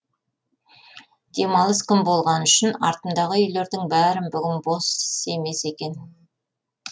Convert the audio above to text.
демалыс күн болғаны үшін артымдағы үйлердің бәрі бүгін бос емес екен